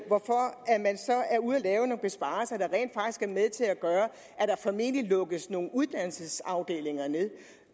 lave nogle besparelser der rent faktisk er med til at gøre at der formentlig lukkes nogle uddannelsesafdelinger